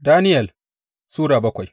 Daniyel Sura bakwai